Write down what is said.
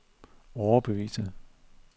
overbevise